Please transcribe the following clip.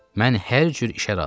Mən hər cür işə razıyam.